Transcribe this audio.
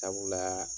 Sabula